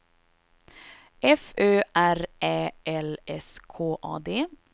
F Ö R Ä L S K A D